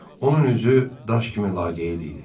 Onun üzü daş kimi laqeyd idi.